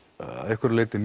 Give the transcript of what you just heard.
að einhverju leyti